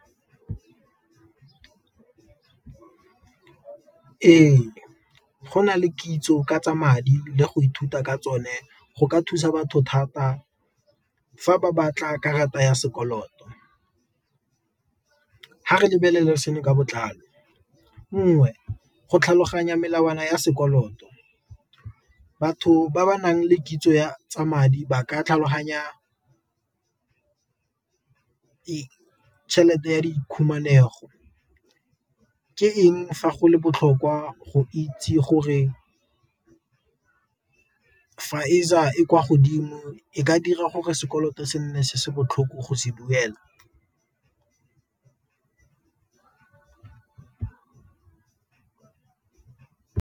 Ee, go na le kitso ka tsa madi le go ithuta ka tsone go ka thusa batho thata fa ba batla karata ya sekoloto, a re lebelela seno ka botlalo nngwe go tlhaloganya melawana ya sekoloto, batho ba ba nang le kitso ya tsa madi ba ka tlhaloganya tšhelete ya di khumanego, ke eng fa go le botlhokwa go itse gore e kwa godimo e ka dira gore sekoloto se nne se se botlhoko go se duela.